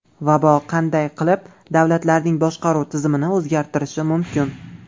Vabo qanday qilib davlatlarning boshqaruv tizimini o‘zgartirishi mumkin?